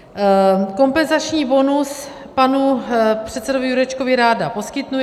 Kompenzační bonus panu předsedovi Jurečkovi ráda poskytnu.